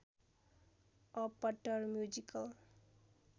a पट्टर musical